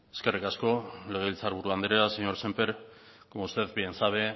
eskerrik asko legebiltzar buru anderea señor sémper como usted bien sabe